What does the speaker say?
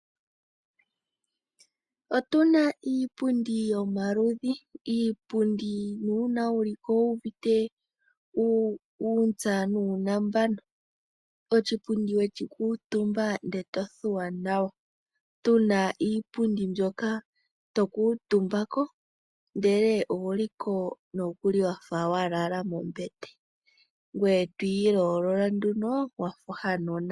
Otuna iipundi yomaludhi. Iipundi na uuna wu li ko owu uvite uuntsa nuunambano. Oshipundi weshi kuutumba ndele to thuwa nawa. Tuna iipundi mbyoka to kuutumba ko ndele owu li ko noku li wafa wa lala mombete. Ngoye to ilolola nduno wafa ohanona.